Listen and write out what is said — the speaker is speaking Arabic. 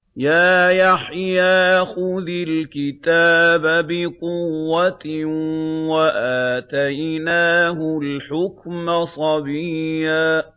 يَا يَحْيَىٰ خُذِ الْكِتَابَ بِقُوَّةٍ ۖ وَآتَيْنَاهُ الْحُكْمَ صَبِيًّا